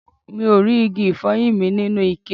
Mi ò rí igi ifoyin mi nínú ikẹ